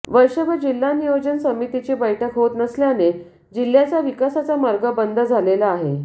वर्षभर जिल्हा नियोजन समितीची बैठक होत नसल्याने जिह्याचा विकासाचा मार्ग बंद झालेला आहे